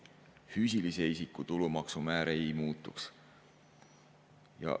Füüsilise isiku tulumaksumäär ei muutuks.